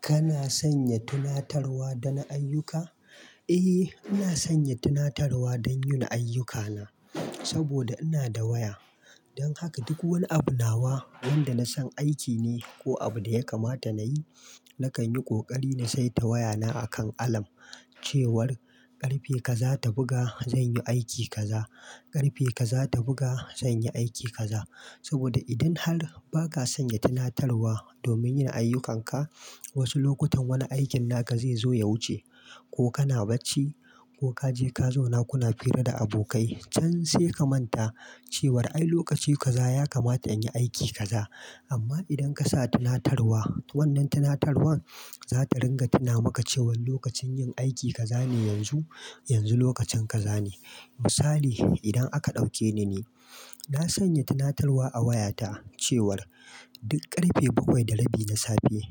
Kana sanya tunatarwa don ayyuka? Eh, ina sanya tunatarwa don yin ayyukana saboda ina da waya. Don haka duk wani abunawa wanda na san aiki ne ko abu da ya kamata na yi, na kan yi ƙoƙari na saita wayana akan alarm cewar ƙarfe kazata buga zan yi aiki kaza, ƙarfe kazata buga zan yi aiki kaza. Saboda idan har ba ka sanya tunatarwa domin yin ayyukanka, wasu lokutan wani aikin naka zai zo ya wuce ko kana bacci ko ka je ka zauna kuna fira da abokai can sai ka manta cewar ai lokaci kaza ya kamata in yi aiki kaza. Amma idan ka sa tunatarwa, wannan tunatarwar za ta ringa tuna maka cewan lokacin yin aiki ka zane yanzu, yanzu lokacin ka zane. Misali, idan aka ɗauke ni ne, na sanya tunatarwa a wayata cewar duk ƙarfe bakwai da rabi na safe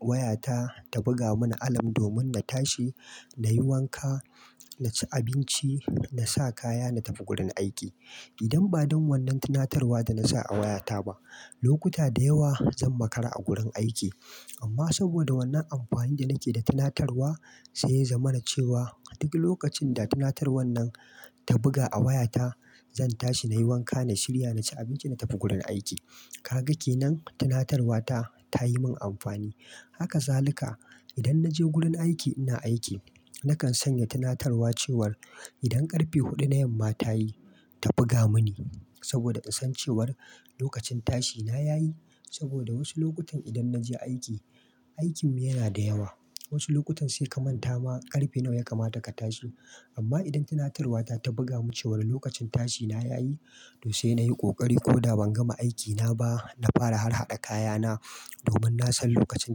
wayata ta buga mani alarm domin na tashi, na yi wanka, na ci abinci, na sa kaya na tafi gurin aiki. Idan ba don wannan tunatarwa da na sa a wayata ba, lokuta da yawa zan makara a gurin aiki. Amma saboda wannan amfanin da nake da tunatarwa sai ya zama na cewa duk lokacin da tunatarwar nan ta buga a wayata, zan tashi na yi wanka, na shirya, na ci abinci na tafi gurin aiki. Kaga kenan tunatarwata ta yi min amfani. Haka za lika idan na je gurin aiki ina aiki, na kan sanya tunatarwa cewar idan ƙarfe huɗu na yamma ta yi, ta buga mini saboda kasancewar lokacin tashina ya yi. Saboda wasu lokutan idan na je aiki, aikinmu yana da yawa. Wasu lokutan sai ka manta ma ƙarfe nawa ya kamata ka tashi. Amma idan tunatarwata ta buga mini cewa lokacin tashina ya yi, to sai na yi ƙoƙari koda ban gama aikina ba, na fara har haƙa kayana domin na san lokacin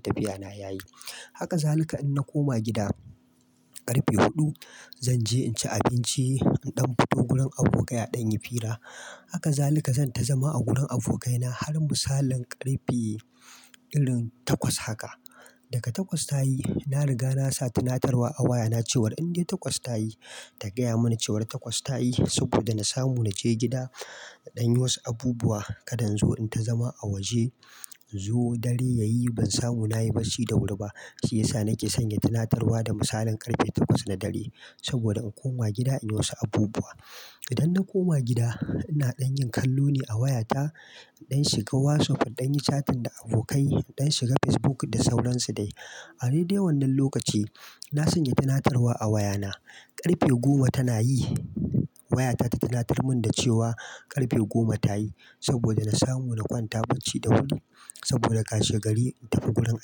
tafiyana ya yi. Haka za lika in na koma gida ƙarfe huɗu, zan je in ci abinci, in ɗan fito gurin abokai a ɗan yi fira. Haka za lika zan ta zama a gurin abokaina har misalin ƙarfe irin takwas haka. Daka takwas ta yi, na riga na sa tunatarwa a wayana cewar in dai takwas ta yi, ta gaya mani cewa takwas ta yi saboda na samu na je gida in ɗanyi wasu abubuwa. Kada in zo in ta zama a waje, inzo dare yayi ban samu na yi bacci da wuri ba. Shi yasa nake sanya tunatarwa da misalin ƙarfe takwas na dare saboda in koma gida in yi wasu abubuwa. Idan na koma gida, ina ɗan yin kallo ne a wayata, inɗan shiga WhatsApp, inɗan yi chatin da abokai, ɗan shiga Facebook da sauransu dai. A dai dai wannan lokaci na sanya tunatarwa a wayana ƙarfe goma tana yi wayata ta tunatar mun da cewa ƙarfe goma ta yi saboda na samu na kwanta bacci da wuri saboda ka she gari in tafi gurin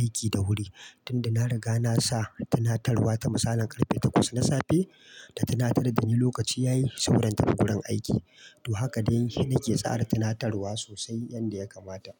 aiki da wuri. Tunda na riga na sa tunatarwa ta misalin ƙarfe takwas na safe ta tunatar da ni lokaci ya yi sauran tafi gurin aiki. To haka dai nake tsara tunatarwa sosai yanda ya kamata.